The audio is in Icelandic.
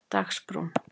Dagsbrún